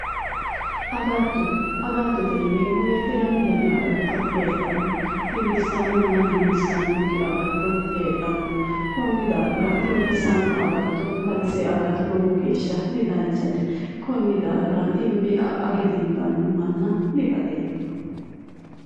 Agatto agattotete yineemmo woyte lamu dani agatto heedhanno dimbissannonna dimbissannokki agatto heedhanno konni daafira dimbissanno agatto batise aga lowo geeshsha didanchate konni daafira age dimbanno manna dibaxeemmo